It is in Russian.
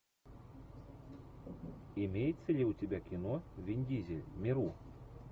имеется ли у тебя кино вин дизель миру